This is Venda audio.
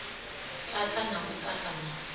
tata na u ṱaṱa na